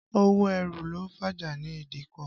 Owó ẹrù ló fàjà ní ìdíkọ̀.